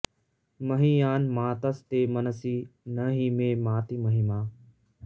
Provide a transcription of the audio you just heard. महीयान् मातस्ते मनसि न हि मे माति महिमा